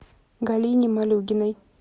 галине малюгиной